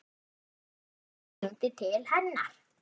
Pabbi hennar hringdi til hennar.